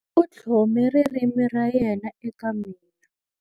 U tlhome ririmi ra yena eka mina.